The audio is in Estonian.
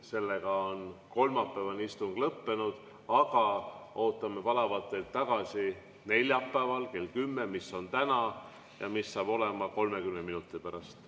Seega on kolmapäevane istung lõppenud, aga ootame palavalt teid tagasi neljapäeval, mis on täna, kell 10 ehk 30 minuti pärast.